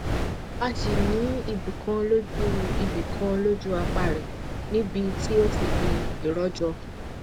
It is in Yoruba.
a sì ní ibi kan lójú ibi kan lójú àpá rẹ níbi tí ó ti di iròjò